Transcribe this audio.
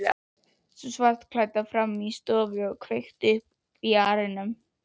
Sú svartklædda frammi í stofu að kveikja upp í arninum.